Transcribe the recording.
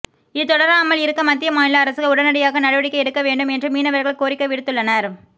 இது தொடராமல் இருக்க மத்திய மாநில அரசுகள் உடனடியாக நடவடிக்கை எடுக்க வேண்டும் என்று மீனவர்கள் கோரிக்கை விடுத்துள்ளனர்